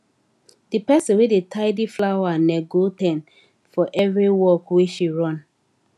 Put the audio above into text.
the person wey da tidy flower nego ten for every work wey she run